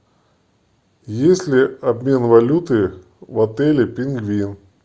есть ли обмен валюты в отеле пингвин